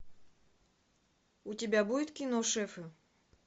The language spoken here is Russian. у тебя будет кино шефы